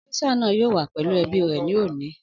Ọ́físà náà yóò wà pẹ̀lú ẹbí rẹ̀ ní òní